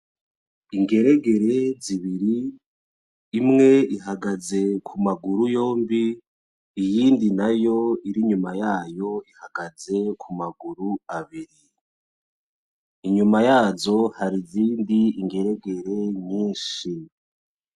Ingeregere zibiri, imwe ihagaze kumaguru yompi iyimdi nayo iri inyuma yayo ihagaze kumaguru abiri, inyuma yayo hari izindi ngeregere nyinshi